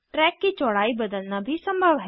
track की चौड़ाई बदलना भी संभव है